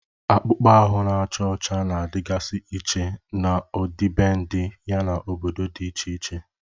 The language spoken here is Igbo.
Akpụkpọ ahụ na-acha ọcha na-adịgasị iche n'ọdịbendị, yana obodo dị iche iche.